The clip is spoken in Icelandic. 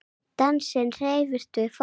Dansinn hreyfir við fólki.